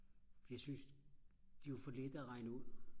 jeg synes det var for lette at regne ud